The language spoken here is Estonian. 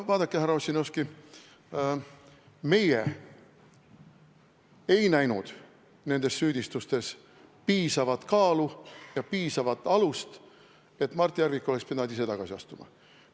No vaadake, härra Ossinovski, meie ei näinud nendel süüdistustel piisavat kaalu ega piisavat alust, selleks et Mart Järvik oleks pidanud ise tagasi astuma.